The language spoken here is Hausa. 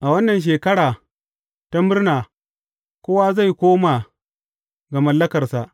A wannan Shekara ta Murna, kowa zai koma ga mallakarsa.